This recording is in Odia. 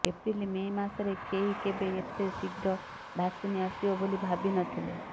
ଏପ୍ରିଲ ମେ ମାସରେ କେହି କେବେ ଏତେ ଶୀଘ୍ର ଭାକସିନ୍ ଆସିବ ବୋଲି ଭାବି ନଥିଲେ